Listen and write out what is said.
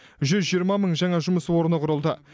жүз жиырма мың жаңа жұмыс орны құрылды